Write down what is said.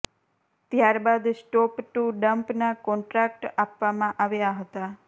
ત્યારબાદ spot to dump ના contract આપવામાં આવ્યા હતા